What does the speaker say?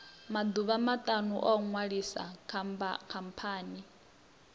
maḓuvha maṱanu u ṅwalisa khamphani